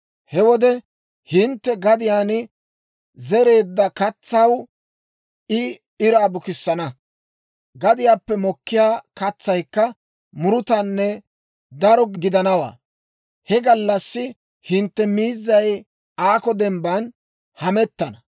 He wode hintte gadiyaan zereedda katsaw I iraa bukissana; gadiyaappe mokkiyaa katsaykka murutanne daro gidanawaa. He gallassi hintte miizzay aakko dembban hamettana.